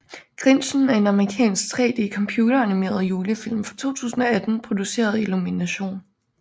Grinchen er en amerikansk 3D computer animeret julefilm fra 2018 produceret af Illumination